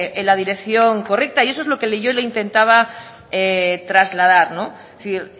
en la dirección correcta y eso es lo que yo le intentaba trasladar es decir